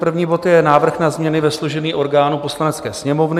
První bod je návrh na změny ve složení orgánů Poslanecké sněmovny.